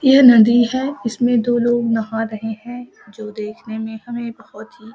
ये नदी हेय इसमे दो लोग नहा रहे हैं जो देखने में हमें बहुत ही --